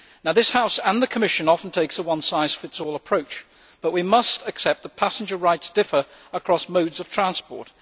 This House and the Commission often take a one size fits all' approach, but we must accept that passenger rights differ across different modes of transport.